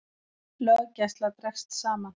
Löggæsla dregst saman